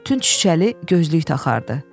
Tünd şüşəli gözlük taxardı.